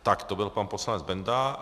Tak, to byl pan poslanec Benda.